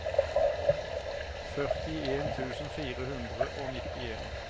førtien tusen fire hundre og nittien